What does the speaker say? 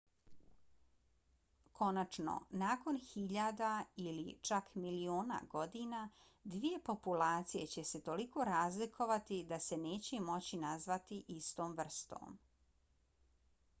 konačno nakon hiljada ili čak miliona godina dvije populacije će se toliko razlikovati da se neće moći nazvati istom vrstom